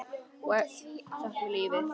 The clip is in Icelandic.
Sáttur við lífið.